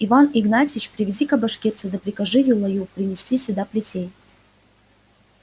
иван игнатьич приведи-ка башкирца да прикажи юлаю принести сюда плетей